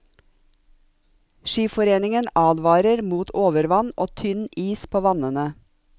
Skiforeningen advarer mot overvann og tynn is på vannene.